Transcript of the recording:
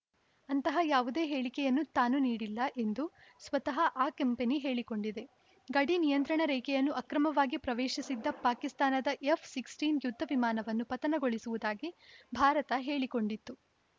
ಅಂತಹ ಯಾವುದೇ ಹೇಳಿಕೆಯನ್ನು ತಾನು ನೀಡಿಲ್ಲ ಎಂದು ಸ್ವತಃ ಆ ಕಂಪನಿ ಹೇಳಿಕೊಂಡಿದೆ ಗಡಿ ನಿಯಂತ್ರಣ ರೇಖೆಯನ್ನು ಅಕ್ರಮವಾಗಿ ಪ್ರವೇಶಿಸಿದ್ದ ಪಾಕಿಸ್ತಾನದ ಎಫ್‌ಸಿಕ್ಸ್ಟೀನ್ ಯುದ್ಧ ವಿಮಾನವನ್ನು ಪತನಗೊಳಿಸಿರುವುದಾಗಿ ಭಾರತ ಹೇಳಿಕೊಂಡಿತ್ತು